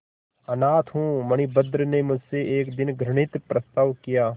अनाथ हूँ मणिभद्र ने मुझसे एक दिन घृणित प्रस्ताव किया